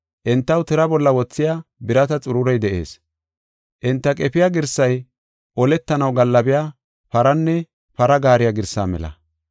Entaw tira bolla wothiya birata xururey de7ees; enta qefiya girsay oletanaw gaallabiya paranne para gaariya girsaa mela.